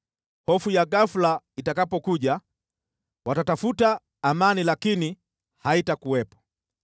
Hofu ya ghafula itakapokuja, watatafuta amani, lakini haitakuwepo.